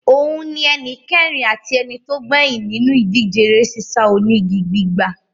Òun ni ẹnìkẹrin àti ẹnitógbẹ́yìn nínú ìdíje eré sísá onígi gbígbà.